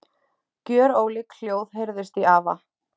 Gjörólík hljóð heyrðust í afa.